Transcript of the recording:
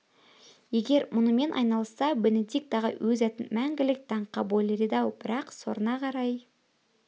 егер мұнымен айналысса бенедикт ағай өз атын мәңгілік даңққа бөлер еді-ау бірақ сорына қарай